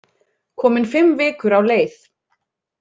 Komin fimm vikur á leið.